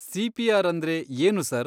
CPR. ಅಂದ್ರೆ ಏನು sir?